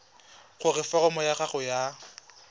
gore foromo ya gago ya